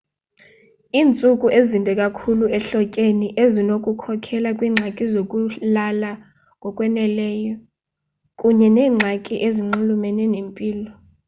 iintsuku ezinde kakhulu ehlotyeni zinokukhokelela kwiingxaki zokulala ngokwaneleyo kunye neengxaki ezinxulumene nempilo